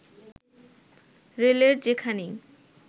রেলের যেখানেই